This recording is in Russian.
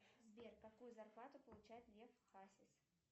сбер какую зарплату получает лев хасис